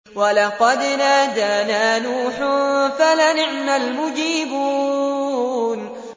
وَلَقَدْ نَادَانَا نُوحٌ فَلَنِعْمَ الْمُجِيبُونَ